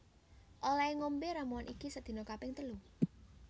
Olehe ngombe ramuan iki sedina kaping telu